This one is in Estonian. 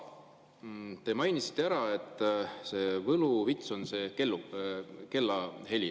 Te mainisite, et võluvits on see kellahelin.